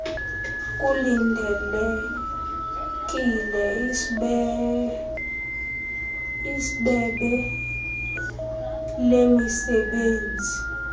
kulindelekile isbebe lemisebenzi